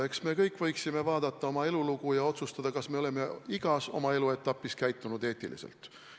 Eks me kõik võiksime oma elulugu vaadata ja otsustada, kas me oleme igas oma eluetapis käitunud eetiliselt.